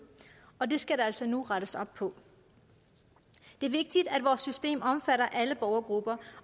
og det skal der altså nu rettes op på det er vigtigt at vores system omfatter alle borgergrupper